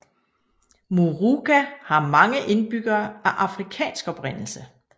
Moorooka har mange indbyggere af afrikansk oprindelse